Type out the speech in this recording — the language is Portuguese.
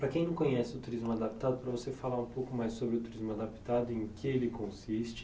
Para quem não conhece o Turismo Adaptado, para você falar um pouco mais sobre o Turismo Adaptado e em que ele consiste.